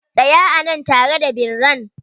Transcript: Tsaya a nan tare da birran!